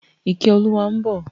Ìkẹ́olúwa ń bọ̀.